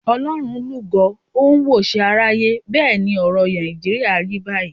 Ọlọ́run lúgọ ó ń wòṣe aráyé. Bẹ́ẹ̀ ni ọ̀rọ̀ Nàìjíríà rí báyìí.